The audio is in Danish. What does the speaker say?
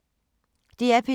DR P2